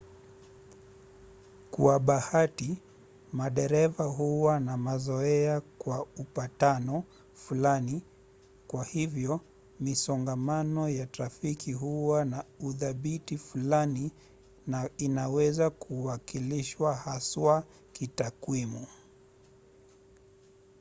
kwa bahati madereva huwa na mazoea kwa upatano fulani; kwa hivyo misongamano ya trafiki huwa na uthabiti fulani na inaweza kuwakilishwa haswa kitakwimu